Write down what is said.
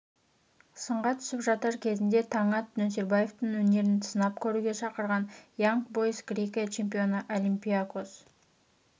сынға түсіп жатыр кезінде таңат нөсербаевтың өнерін сынап көруге шақырған янг бойз грекия чемпионы олимпиакос